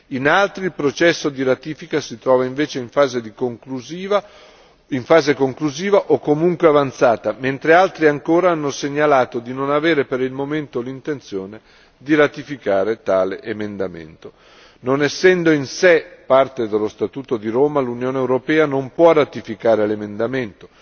In altri il processo di ratifica si trova invece in fase conclusiva o comunque avanzata, mentre altri ancora hanno segnalato di non avere per il momento l'intenzione di ratificare tale emendamento. Non essendo in sé parte dello Statuto di Roma, l'Unione europea non può ratificare l'emendamento.